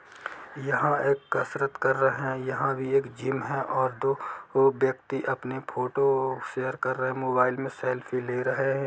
यहाँ एक कसरत कर रहे है यह एक जिम है और दो थो व्यक्ति अपनी फोटो शेयर कर रहे है मोबाइल में सेल्फी ले रहे है।